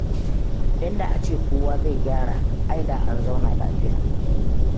In da a ce kowa zai gyara, ai da an zauna lafiya.